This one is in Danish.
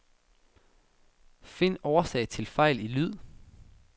Find årsag til fejl i lyd.